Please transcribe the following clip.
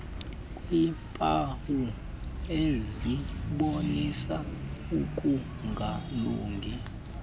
kweempawu ezibonisa ukungalungi